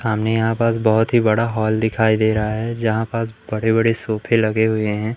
हमें यहां पास बहोत ही बड़ा हॉल दिखाई दे रहा है जहां पास बड़े बड़े सोफे लगे हुए हैं।